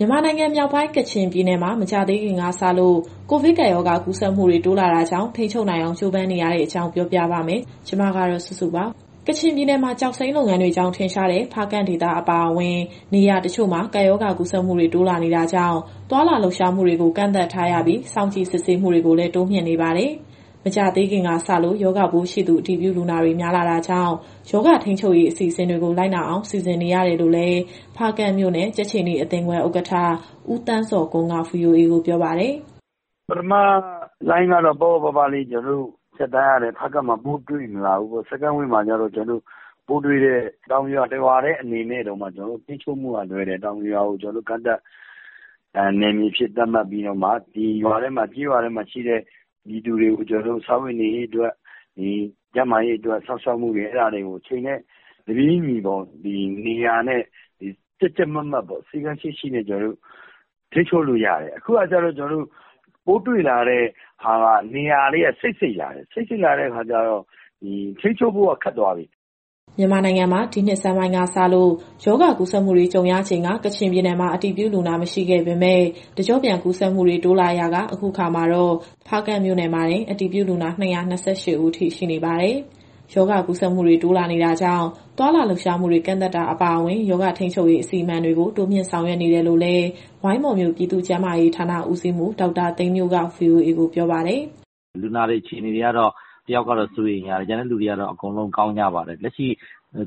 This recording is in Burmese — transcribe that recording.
မြန်မာနိုင်ငံမြောက်ပိုင်း ကချင်ပြည်နယ်မှာ မကြာသေးခင်ကစလို့ ကိုဗစ်ကပ်ရောဂါ ကူးစက်မှုတွေ တိုးလာတာကြောင့် ထိန်းချုပ်နိုင်အောင် ကြိုးပမ်းနေရတဲ့အကြောင်း ဗွီအိုအေမြန်မာပိုင်း သတင်းထောက် မစုစုက ပေးပို့ထားပါတယ်။ ကချင်ပြည်နယ်မှာ ကျောက်စိမ်းလုပ်ငန်းတွေကြောင့် ထင်ရှားတဲ့ ဖားကန့်ဒေသ အပါအဝင် နေရာတချို့မှာ ကပ်ရောဂါကူးစက်မှုတွေ တိုးလာတာကြောင့် သွားလာလှုပ်ရှားမှုတွေ ကန့်သတ်ထားပြီး စောင့်ကြည့်စစ်ဆေးမှုတွေကိုလည်း တိုးမြှင့်နေပါတယ်။ မကြာသေးခင်ကစလို့ ရောဂါပိုးရှိသူ အတည်ပြုလူနာတွေ များလာတာကြောင့် ရောဂါထိန်းချုပ်ရေး အစီအစဉ်တွေကို လိုက်နာအောင် စီစဉ်နေရတယ်လို့လည်း ဖားကန့်မြို့နယ် ကြက်ခြေနီအသင်းခွဲဥက္ကဋ္ဌ ဦးသန်းဇော်ကွန်းက VOA ကိုပြောပါတယ်။ "ပထမလှိုင်းတုန်းကတော့ ပေါ့ပေါ့ပါးပါးလေးဖြတ်သန်းရတယ်။ ဖားကန့်မှာ ပိုးတွေ့မလာဘူးပေါ့။ Second Wave မှာကျတော့ ပိုးတွေ့တဲ့ တောင်ပြိုရွာ တရွာထဲတုန်းက ထိန်းချုပ်ဖို့ကလွယ်တယ်။ တောင်ပြိုရွာကို ကန့်သတ်နယ်မြေအဖြစ် သတ်မှတ်ပြီးတော့မှ ဒီကျေးရွာထဲမှာရှိတဲ့ပြည်သူတွေရဲ့ စားဝတ်နေရေး၊ ကျန်းမာရေးအတွက် စောင့်ရှောက်မှုတွေကို အချိန်နဲ့တပြေးညီ ကြပ်ကြပ်မတ်မတ်ထိန်းချုပ်လို့ရတယ်။ အခုကကျတော့ ပိုးတွေ့လာတဲ့ဟာက နေရာတွေကစိပ်စိပ်လာတဲ့အခါကျတော့ ထိန်းချုပ်ဖို့ကခက်သွားပြီ။" မြန်မာနိုင်ငံမှာ ဒီနှစ်ဆန်းပိုင်းကစလို့ ရောဂါကူးစက်မှုတွေ ကြုံရချိန်က ကချင်ပြည်နယ်မှာ အတည်ပြုလူနာ မရှိခဲ့ပေမဲ့ တကျော့ပြန် ကူးစက်မှုတွေ တိုးလာရာက အခုအခါ ဖားကန့်မြို့နယ်မှာတင် အတည်ပြုလူနာ ၂၂၈ ဦးအထိ ရှိနေပါတယ်။ ရောဂါကူးစက်မှုတွေ တိုးလာနေတာကြောင့် သွားလာလှုပ်ရှားမှုတွေ ကန့်သတ်တာ အပါအဝင် ရောဂါထိန်းချုပ်ရေး အစီအမံတွေကို တိုးမြှင့်ဆောင်ရွက် နေတယ်လို့လည်း ဝိုင်းမော်မြို့ ပြည်သူ့ကျန်းမာရေးဌာန ဦးစီးမှူး ဒေါက်တာသိန်းမြို့က VOA ကိုပြောပါတယ်။ "လူနာတွေအခြေအနေကတော့ တယောက်ကတော့စိုးရိမ်ရတယ်။ ကျန်တဲ့လူနာတွေကတော့ အကုန်လုံးကောင်းကြပါတယ်။ လက်ရှိ